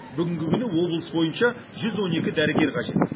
бүгінгі күні облыс бойынша жүз он екі дәрігер қажет